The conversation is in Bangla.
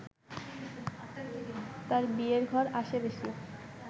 তাঁর বিয়ের ঘর আসে বেশি